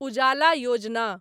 उजाला योजना